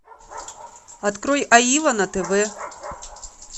открой аива на тв